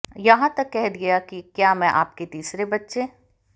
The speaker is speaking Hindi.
यहां तक कह दिया कि क्या मैं आपके तीसरे बच्चे